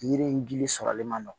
Yiri in gili sɔrɔli ma nɔgɔn